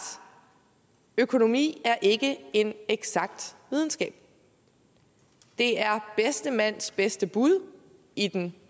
økonomi er ikke en eksakt videnskab det er bedste mands bedste bud i den